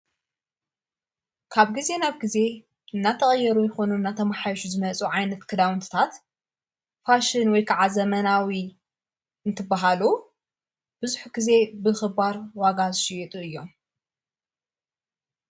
ካብ ጊዜ ናብ ጊዜ እናተቐየሩ ይኾኑ ናተመሓዮሽ ዝመጹ ዓይነት ክዳውንትታት ፋሽን ወይ ከዓ ዘመናዊ እንትበሃሉ ብዙሕ ጊዜ ብኽባር ዋጋ ዝሽየጡ እዮም።